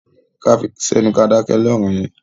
Ká fi sẹ́nu ká dákẹ́ lọ̀rọ̀ yẹn.